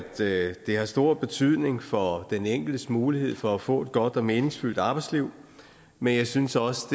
det har stor betydning for den enkeltes mulighed for få et godt og meningsfyldt arbejdsliv men jeg synes også